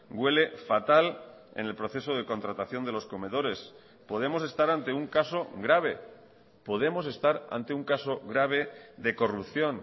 huele fatal en el proceso de contratación de los comedores podemos estar ante un caso grave podemos estar ante un caso grave de corrupción